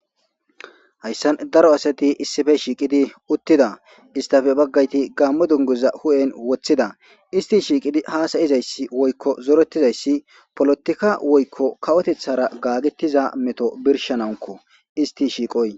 hayssan daro asati issife shiiqidi uttida istafe baggayti gaammo dunguza hu7en woththida isti shiiqidi haasayizayssi woykko zorettizayssi polotikka woykko kawotethara gaagetiza meto birshanawunko isti shiiqoy